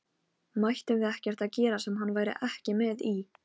Mættum við ekkert gera sem hann væri ekki með í?